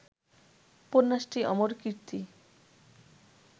উপন্যাসটি অমর কীর্তি